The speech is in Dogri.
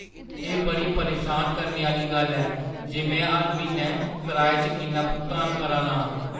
एह् बड़ी परेशान करने आह्‌ली गल्ल ऐ जे में हर म्हीनै कराए च किन्ना भुगतान करा ना आं।